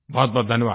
बहुतबहुत धन्यवाद